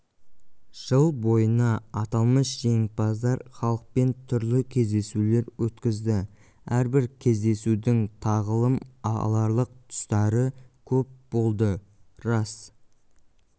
жыл бойына аталмыш жеңімпаздар халықпен түрлі кездесулер өткізді әрбір кездесудің тағылым аларлық тұстары көп болды рас